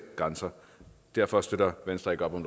grænser derfor støtter venstre ikke op om